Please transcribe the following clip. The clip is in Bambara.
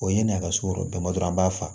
O ye n'a ka so yɔrɔ dɔ damadɔ an b'a fa